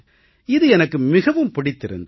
இது எனக்கு மிகவும் பிடித்திருந்தது